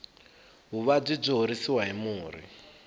vuvabyi byi horisiwa hi murhi